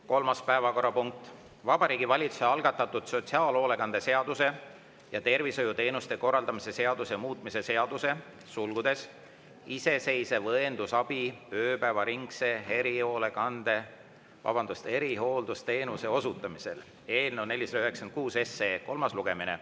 Kolmas päevakorrapunkt: Vabariigi Valitsuse algatatud sotsiaalhoolekande seaduse ja tervishoiuteenuste korraldamise seaduse muutmise seaduse eelnõu 496 kolmas lugemine.